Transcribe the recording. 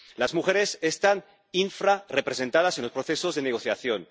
Las mujeres están infrarrepresentadas en los procesos de negociación.